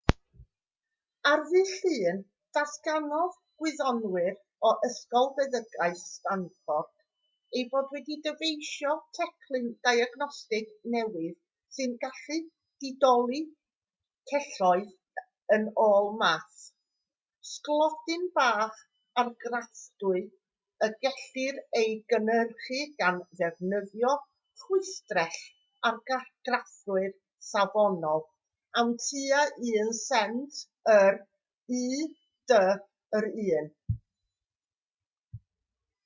ar ddydd llun datganodd gwyddonwyr o ysgol feddygaeth stanford eu bod wedi dyfeisio teclyn diagnostig newydd sy'n gallu didoli celloedd yn ôl math sglodyn bach argraffadwy y gellir ei gynhyrchu gan ddefnyddio chwistrell-argraffwyr safonol am tua un sent yr u.d. yr un